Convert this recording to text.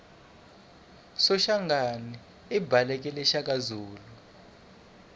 soshangana ibhaleke shakazulu